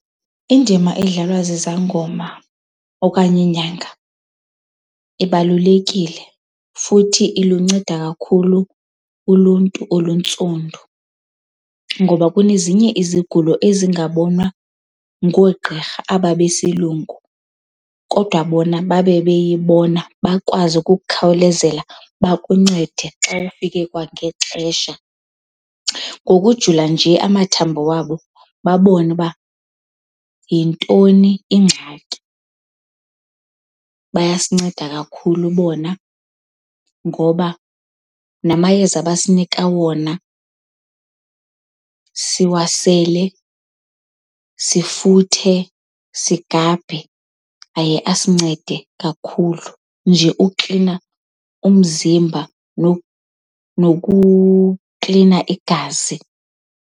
Indima edlalwa zizangoma okanye iinyanga ibalulekile futhi ilunceda kakhulu uluntu oluntsundu. Ngoba kunezinye izigulo ezingabonwa ngoogqirha aba besilungu kodwa bona babe beyibona bakwazi ukukhawulezela bakuncede xa ufike kwangexesha ngokujula nje amathambo wabo, babone uba yintoni ingxaki. Bayasinceda kakhulu bona ngoba namayeza abasinika wona siwasele, sifuthe, sigabhe, aye asincede kakhulu nje ukuklina umzimba nokuklina igazi.